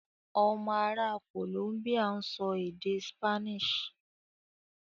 Ọmọ ará ìlú Columbia ń sọ èdè Spanish.